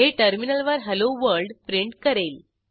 हे टर्मिनलवर हेल्लो Worldप्रिंट करेल